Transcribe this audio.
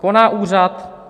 Koná úřad?